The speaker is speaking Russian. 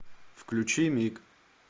включи миг